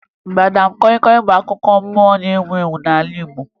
Madam kọyị kọyị bụ akụkọ mmụọ na-ewu ewu n'ala Igbo